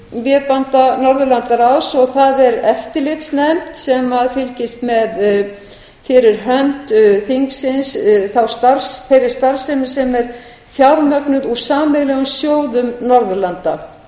vébanda norðurlandaráðs og það er eftirlitsnefnd sem fylgist með fyrir hönd þingsins þeirri starfsemi sem er fjármögnuð úr sameiginlegum sjóðum norðurlanda